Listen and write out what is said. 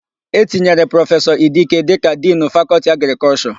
E tinyere Prọfesọ Idike dịka Dinu Fakọltị Agrịkọlshọ.